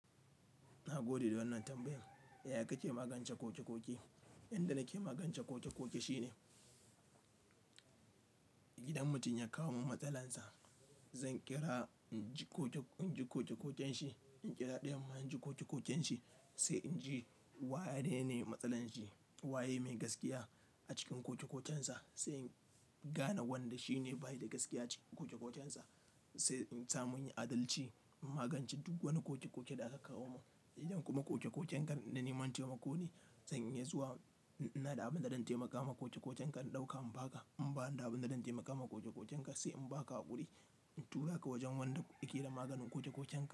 Na gode da wannan tambayan. Ya kake magance koke-koke? Yanda nake magance koke-koke shine. Idan mutum ya kawo min matsalar sa, zan kira in ji koke-koken shi, in kira ɗayan ma in ji koke-koken shi, sai in ji waye ne matsalar shi, waye mai gaskiya a cikin koke-koken sa. Sai in gane wanda shine bashi da gaskiya a cikin koke-koken sa, sai in sa mu in yi adalci in magance duk wani koke-koke da aka kawo mun, idan kuma koke-koken na neman taimako ne zan iya zuwa. In ina da abin da zan taimaka ma koke-koken ka in ɗauka in ba ka, in ba ni da abin da zan taimaka ma koke-koken ka sai in ba ka haƙuri, in tura ka wajen wanda yake da maganin koke-koken ka.